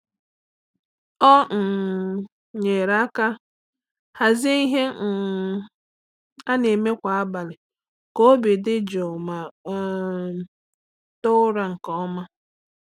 Ọ um nyere aka hazie ihe um a na-eme kwa abalị ka obi dị jụụ ma um too ụra nke ọma.